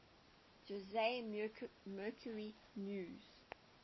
jose mercury news